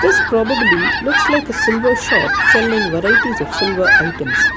this probably looks like a silver shop selling varieties of silver items.